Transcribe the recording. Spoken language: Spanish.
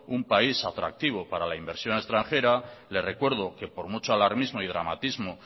un país atractivo para la inversión extranjera le recuerdo que por mucho alarmismo y dramatismo